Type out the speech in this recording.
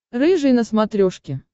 рыжий на смотрешке